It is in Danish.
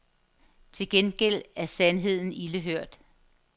Til gengæld er sandheden ilde hørt.